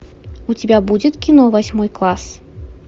у тебя будет кино восьмой класс